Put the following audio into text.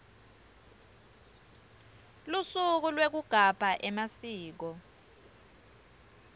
lusuku lwekugabha emasiko